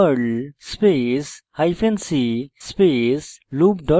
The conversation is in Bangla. perl space hyphen c space loop dot pl